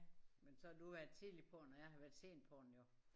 Men så har du været tidligt på den og jeg har været sent på den jo